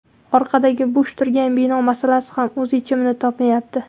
Orqadagi bo‘sh turgan bino masalasi ham o‘z yechimini topmayapti.